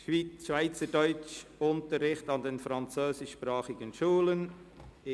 «Schweizerdeutsch-Unterricht an den französischsprachigen Schulen».